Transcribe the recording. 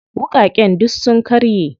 Wuƙaƙen duk sun karye.